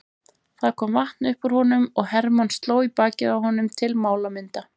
Það kom vatn upp úr honum og Hermann sló í bakið á honum til málamynda.